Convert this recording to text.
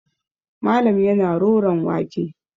Malam yana roron wake.